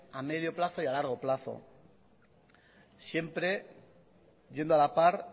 a medio plazo y a largo plazo siempre yendo a la par